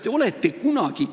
Ja lõpetuseks.